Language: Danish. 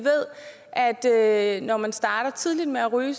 at når man starter tidligt med at ryge